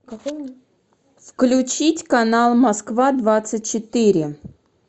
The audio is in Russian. включить канал москва двадцать четыре